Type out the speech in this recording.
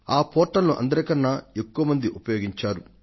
ఆ పోర్టల్ ను అందరికన్నా ఎక్కువ మంది ఎగబడి మరీ ఉపయోగించారు